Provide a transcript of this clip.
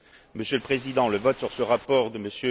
Monsieur le Président, le vote sur ce rapport de M.